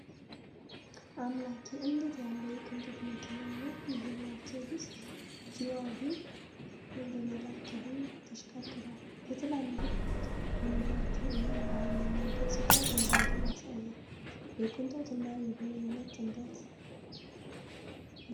አምላኬ! እንዴት ያለ የቅንጦት መኪና ነው! ይሄ 'መርሴዲስ ጂ-ዋገን' በመዳብ ቀለም ተሽቀርቅሯል! በትላልቅ ጎማዎቹ እና በኃይለኛው ገጽታው ጉልበቱን ያሳያል! የቅንጦት እና የበላይነት ጥምረት! ምርጥ!